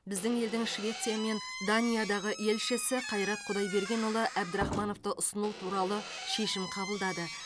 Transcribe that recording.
біздің елдің швеция мен даниядағы елшісі қайрат құдайбергенұлы әбдірахмановты ұсыну туралы шешім қабылдады